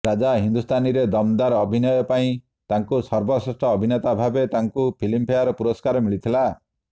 ରାଜା ହିନ୍ଦୁସ୍ତାନୀରେ ଦମଦାର ଅଭିନୟ ପାଇଁ ତାଙ୍କୁ ସର୍ବଶ୍ରେଷ୍ଠ ଅଭିନେତା ଭାବେ ତାଙ୍କୁ ଫିଲ୍ମଫେୟାର ପୁରସ୍କାର ମିଳିଥିଲା